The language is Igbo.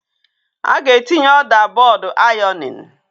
A ga-etinye ọda bọọdụ ironing.